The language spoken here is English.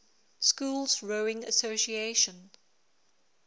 schools rowing association